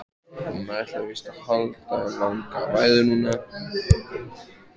Hún ætlar víst að halda langa ræðu núna.